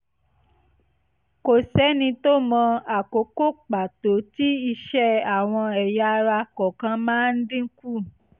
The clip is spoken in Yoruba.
kò sẹ́ni tó mọ àkókò pàtó tí iṣẹ́ àwọn ẹ̀yà ara kọ̀ọ̀kan má ń dínkù